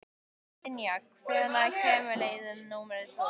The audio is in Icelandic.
Dynja, hvenær kemur leið númer tvö?